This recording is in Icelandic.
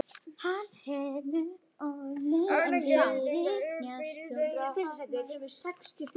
Hann hefur orðið fyrir hnjaski og brotnað.